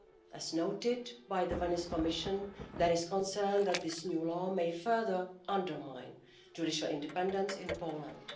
As noted by the Venice Commission, there is concern that this new law may further undermine judicial independence in Poland.